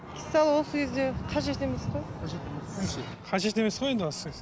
сол осы кезде қажет емес қой қажет емес қажет емес қой